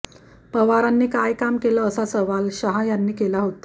पवारांनी काय काम केलं असा सवाल शाह यांनी केला होता